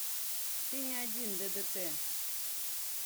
ты не один ддт